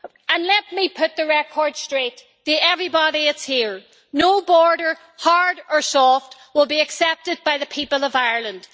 And let me put the record straight to everybody here no border, hard or soft, will be accepted by the people of Ireland.